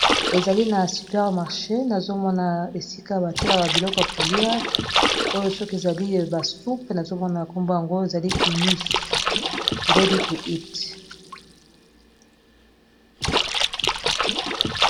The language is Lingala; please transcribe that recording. Ezali na super marché nazomona esika batela ka biloko ya kolia oyo soki ezali basupe nazomona kombo yango ezali imus ruadi to eat